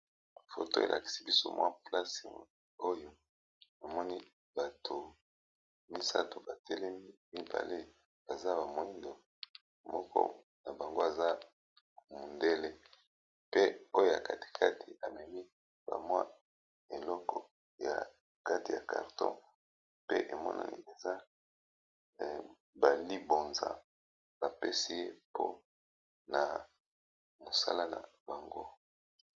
foto elakisi biso mwa place oyo emoni bato misato batelemi mibale baza bamoindo moko na bango aza mondele pe oyo ya katikati amemi bamwa eloko ya kate ya carton pe emonani eza balibonza bapesi ye mpo na mosala na bango